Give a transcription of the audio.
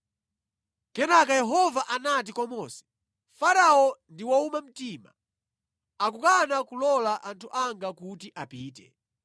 Kenaka Yehova anati kwa Mose, “Farao ndi wowuma mtima. Akukana kulola anthu anga kuti apite.